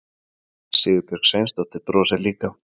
Sigurbjörg Sveinsdóttir brosir líka.